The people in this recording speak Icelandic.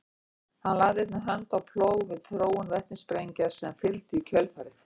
hann lagði einnig hönd á plóg við þróun vetnissprengja sem fylgdu í kjölfarið